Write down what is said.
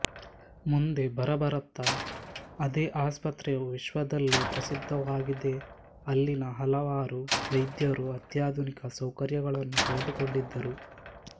ಮುಂದೆ ಬರಬರತಾ ಅದೇ ಆಸ್ಪತ್ರೆಯು ವಿಶ್ವದಲ್ಲೇ ಪ್ರಸಿದ್ದವಾಗಿದೆಅಲ್ಲಿನ ಹಲವಾರು ವೈದ್ಯರು ಅತ್ಯಾಧುನಿಕ ಸೌಕರ್ಯಗಳನ್ನು ಪಡೆದುಕೊಂಡಿದ್ದರು